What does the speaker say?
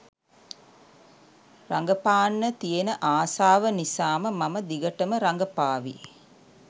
රඟපාන්න තියෙන ආසාව නිසාම මම දිගටම රඟපාවි.